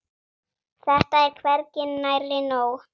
Þetta er hvergi nærri nóg.